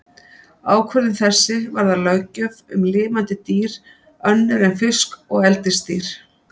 Ákvörðun þessi varðar löggjöf um lifandi dýr önnur en fisk og eldisdýr.